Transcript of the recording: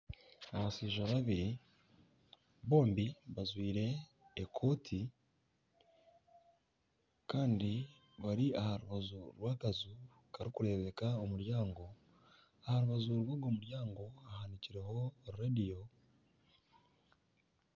Abashaija babiri bombi bajwaire ekooti kandi bari aha rubaju rw'akaju karikureebeka omuryango aha rubaju rw'ogwo muryango hahanikirweho reediyo.